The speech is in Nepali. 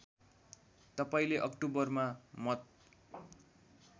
तपाईँले अक्टोबरमा मत